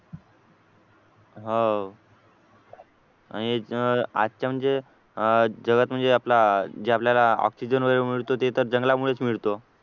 हो आणि आजच्या म्हणजे अह जगात म्हणजे आपला जे आपल्याला ऑक्सिजन वगैरे मिळतो ते तर जंगलामुळेच मिळतो